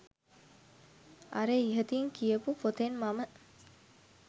අර ඉහතින් කියපු පොතෙන් මම